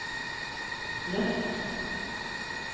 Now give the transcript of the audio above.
løft